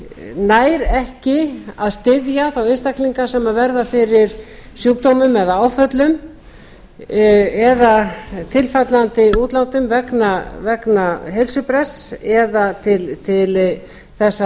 nær ekki að styðja þá einstaklinga sem verða fyrir sjúkdómum eða áföllum eða tilfallandi útlátum vegna heilsubrests eða til þess